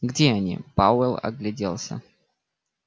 где они пауэлл огляделся